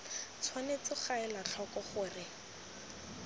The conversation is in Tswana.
tshwanetse ga elwa tlhoko gore